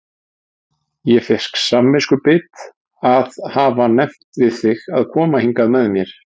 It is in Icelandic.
Ég fékk samviskubit að hafa nefnt við þig að koma hingað með mér